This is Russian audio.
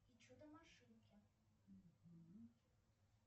и чудо машинки